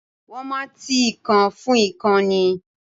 Wọ́n máa ti ìkan fún ìkan ni.